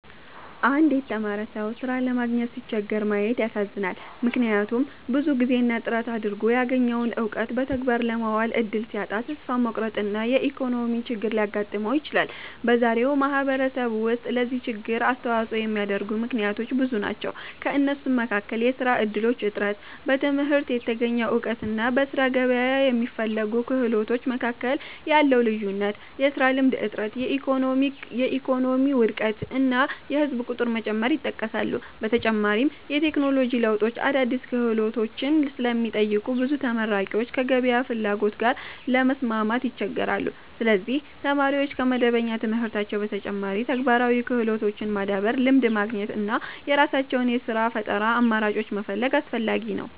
አንድ የተማረ ሰው ሥራ ለማግኘት ሲቸገር ማየት ያሳዝናል፤ ምክንያቱም ብዙ ጊዜና ጥረት አድርጎ ያገኘውን እውቀት በተግባር ለማዋል እድል ሲያጣ ተስፋ መቁረጥና የኢኮኖሚ ችግር ሊያጋጥመው ይችላል። በዛሬው ማህበረሰብ ውስጥ ለዚህ ችግር የሚያስተዋጽኦ የሚያደርጉ ምክንያቶች ብዙ ናቸው። ከእነሱም መካከል የሥራ እድሎች እጥረት፣ በትምህርት የተገኘ እውቀትና በሥራ ገበያ የሚፈለጉ ክህሎቶች መካከል ያለው ልዩነት፣ የሥራ ልምድ እጥረት፣ የኢኮኖሚ ውድቀት እና የህዝብ ቁጥር መጨመር ይጠቀሳሉ። በተጨማሪም የቴክኖሎጂ ለውጦች አዳዲስ ክህሎቶችን ስለሚጠይቁ ብዙ ተመራቂዎች ከገበያው ፍላጎት ጋር ለመስማማት ይቸገራሉ። ስለዚህ ተማሪዎች ከመደበኛ ትምህርታቸው በተጨማሪ ተግባራዊ ክህሎቶችን ማዳበር፣ ልምድ ማግኘት እና የራሳቸውን የሥራ ፈጠራ አማራጮች መፈለግ አስፈላጊ ነው።